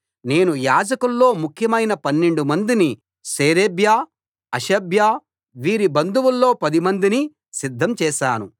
నేను యాజకుల్లో ముఖ్యమైన 12 మందిని షేరేబ్యా హషబ్యా వీరి బంధువుల్లో 10 మందిని సిద్ధం చేశాను